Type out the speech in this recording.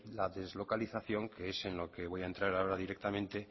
la deslocalización que es en lo que voy a entra ahora directamente